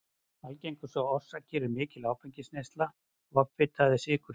Algengustu orsakir eru mikil áfengisneysla, offita eða sykursýki.